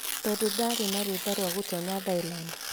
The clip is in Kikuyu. Tondũ ndaarĩ na rũtha rwa gũtoonya Thailand,